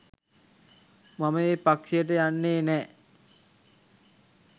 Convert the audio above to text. මම ඒ පක්‍ෂයට යන්නේ නෑ